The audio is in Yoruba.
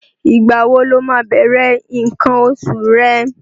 Ìgbà wo lo máa bẹ̀rẹ̀ nǹkan oṣù rẹ?